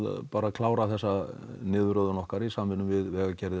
bara að klára þessa niðurröðun okkar í samvinnu við vegagerðina